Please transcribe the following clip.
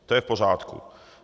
To je v pořádku.